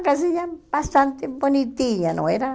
Uma casinha bastante bonitinha, não era?